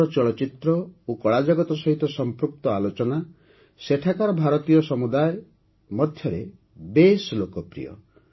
ଆମର ଚଳଚ୍ଚିତ୍ର ଓ କଳା ଜଗତ ସହିତ ସମ୍ପୃକ୍ତ ଆଲୋଚନା ସେଠାକାର ଭାରତୀୟ ସମୁଦାୟ ମଧ୍ୟରେ ବେଶ୍ ଲୋକପ୍ରିୟ